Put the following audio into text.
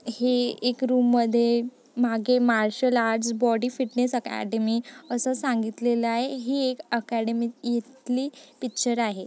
हे एक रूम मध्ये मागे martial arts body fitness academy अस सांगितलेलय ही एक अकॅडमी इथली पिक्चर आहे.